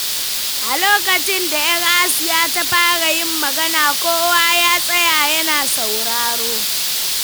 A lokacin da ‘yar Asiya ta fara yin magana, kowa ya tsaya yana sauraro.